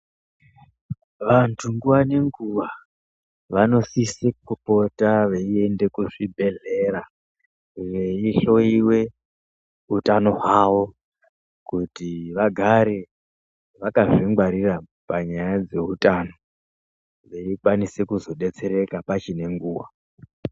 Vandu nguva nenguva vanosisipota veyienda kuzvibhedlera veyihloyiwe utano hwawo kuti vagare vakazvingwarira panyaya dzeutano veyikwanise kuzodetsereka pachine nguwa.